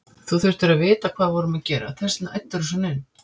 Þú þurftir að vita hvað við vorum að gera, þess vegna æddirðu svona inn.